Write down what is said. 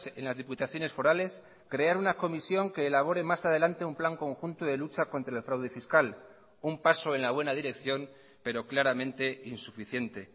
en las diputaciones forales crear una comisión que elabore más adelante un plan conjunto de lucha contra el fraude fiscal un paso en la buena dirección pero claramente insuficiente